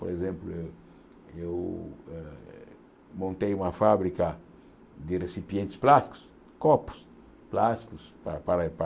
Por exemplo, eu eu eh montei uma fábrica de recipientes plásticos, copos plásticos para para para